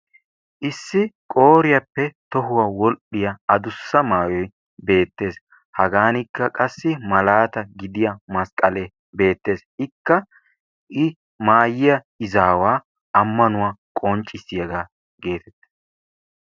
Issi qooriyappe tohuwa wodhdhiya adussa maayoy beettees. Hagaanikka qassi malaata gidiya masqqalee beettees. Ikka I maayiya izaawaa ammanuwa qonccissiyagaa geetettees.